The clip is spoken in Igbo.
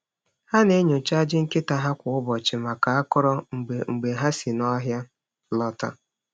Ha na-enyocha ajị nkịta ha kwa ụbọchị maka akọrọ mgbe mgbe ha si n’ọhịa lọta.